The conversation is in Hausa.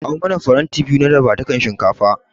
Kawo mana faranti biyu na dafadukan shinkafa.